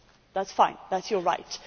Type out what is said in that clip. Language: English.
That is fine, that is your right.